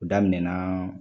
O daminɛ naa